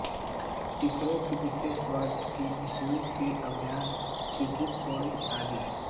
Tokyo के विशेष ward हैं शिबुया शिनागावा शिंजुकु एडोगवा आदि